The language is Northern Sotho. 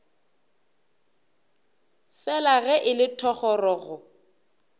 fela ge e le thogorogo